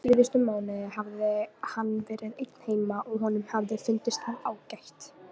Síðustu mánuðina hafði hann verið einn heima og honum hafði fundist það ágætt.